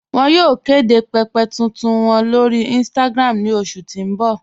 Wọn yóò kede pẹ̀pẹ̀ tuntun wọn lórí Instagram ní oṣù tí n bọ̀